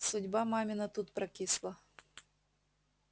судьба мамина тут прокисла